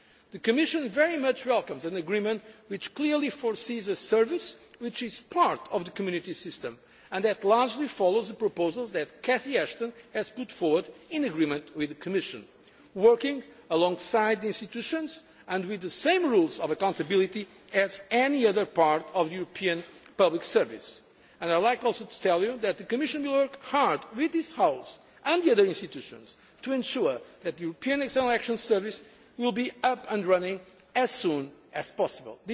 Service. The Commission very much welcomes an agreement which clearly makes provision for a service which is part of the Community system and largely follows the proposals that Catherine Ashton has put forward in agreement with the Commission, working alongside the institutions and with the same rules of accountability as any other part of the European public service. I would like also to tell you that the Commission worked hard with this House and the other institutions to ensure that the European External Action Service will be up and running as soon as